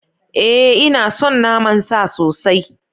Ee ina son naman sa sosai